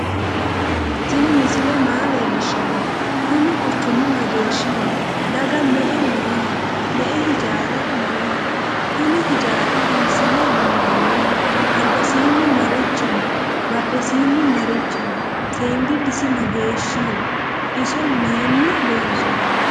tinni misile maa leelishano? kuuni quchumu mageshiho? dago me"e noho?me"e ijara noho? kunni ijari hisine minoniho? albasini marichi no?badhesini marichi no?sendilisi mageshiho? iso mayini lonsoni?